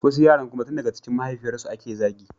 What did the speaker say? Wasu yaran kuma tun daga cikin mahaifiyarsu ake zagi